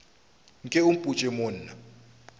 nke o mpotše mo na